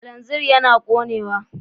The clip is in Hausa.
Kananzir yana ƙonewa.